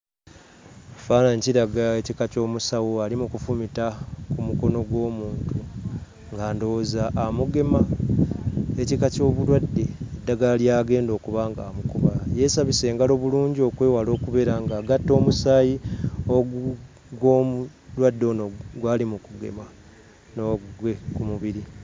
Ekifaananyi kiraga ekika ky'omusawo ali mu kufumita ku mukono gw'omuntu nga ndowooza amugema ekika ky'obulwadde eddagala ly'agenda okuba ng'amukuba. Yeesabise engalo bulungi okwewala okubeera ng'agatta omusaayi ogu gw'omulwadde ono gw'ali mu kugema n'ogugwe mu mubiri.